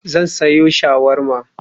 Zan sayo shawarma.